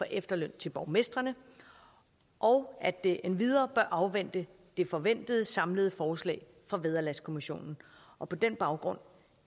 efterløn til borgmestrene og at det endvidere bør afvente det forventede samlede forslag fra vederlagskommissionen og på den baggrund